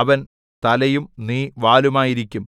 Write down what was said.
അവൻ തലയും നീ വാലുമായിരിക്കും